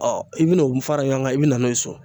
i bina o fara ɲɔgɔn kan i bɛ na n'o ye so